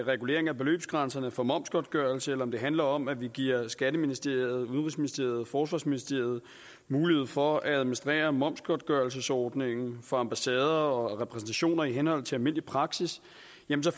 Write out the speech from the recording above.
regulering af beløbsgrænserne for momsgodtgørelse eller om det handler om at vi giver skatteministeriet udenrigsministeriet forsvarsministeriet mulighed for at administrere momsgodtgørelsesordningen for ambassader og repræsentationer i henhold til almindelig praksis